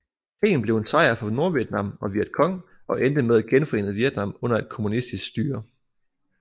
Krigen blev en sejr for Nordvietnam og Vietcong og endte med et genforenet Vietnam under et kommunistisk styre